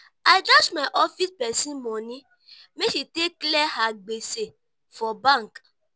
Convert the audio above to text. i dash my office pesin moni make she take clear her gbese for bank.